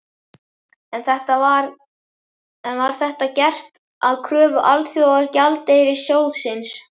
En var þetta gert að kröfu Alþjóðagjaldeyrissjóðsins?